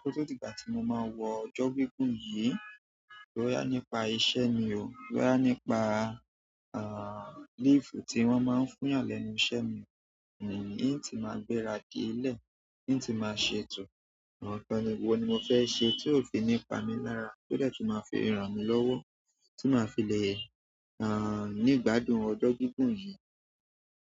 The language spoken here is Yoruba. kó tó di ìgbà tí mo máa wọ ọjọ́ gígùn yìí. Bọ́yà nípa iṣẹ́ mi o, bọ́yà nípa, àń, leave tí wọ́n máa ń fún yàn lẹ́nu iṣẹ́ mi. Ín ti máa gbéra di ilẹ̀, yín ti máa ṣètò àwọn nǹkan wo ni mo fẹ́ sẹ tí ó fi nípa mi lára, tó dẹ̀ tu máa fi ràn mí lọ́wọ́ tí màá fi le, àń, nígbàdùn ọjọ́ gígùn yìí.